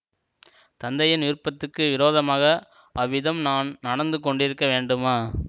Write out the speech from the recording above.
தந்தையின் விருப்பத்துக்கு விரோதமாக அவ்விதம் நான் நடந்து கொண்டிருக்க வேண்டுமா